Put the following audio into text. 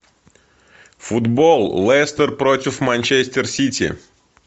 футбол лестер против манчестер сити